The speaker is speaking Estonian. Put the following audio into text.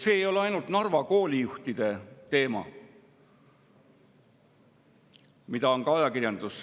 See ei ole ainult Narva koolijuhtide teema, mida ka ajakirjandus